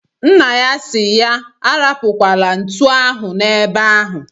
Nna ya si ya arapukwala ntu ahụ na ebe ahu